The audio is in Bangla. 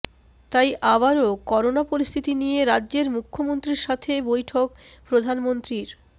তাই আবারও করোনা পরিস্থিতি নিয়ে রাজ্যের মুখ্যমন্ত্রীর সাথে বৈঠক প্রধানমন্ত্রীর